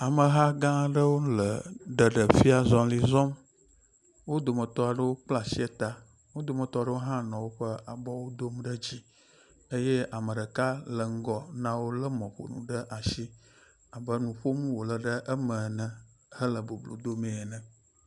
Ameha gã eɖewo le ɖeɖefiazɔli zɔm. Wo dometɔ aɖewo kpla asi ta, wo dometɔ aɖewo hã nɔ woƒe abɔwo dom ɖe dzi eye ame ɖeka le ŋgɔ na wo lé mɔƒonu ɖe asi abe nu ƒom wo le ɖe eme ene hele boblo dome ne.